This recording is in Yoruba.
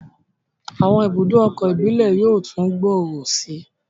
Àwọn ibùdó ọkọ̀ íbìlẹ̀ yóò tún gbòòrò sí i